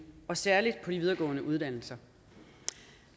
og særlig på de videregående uddannelser